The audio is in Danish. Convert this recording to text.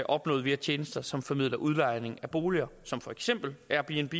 opnået via tjenester som formidler udlejning af boliger som for eksempel airbnb